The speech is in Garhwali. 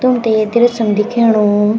तुम्थे ये दृश्य म दिखेणू।